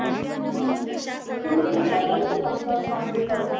मग तुम्ही तुमच्या पुरतं खाशाल नॉनव्हेज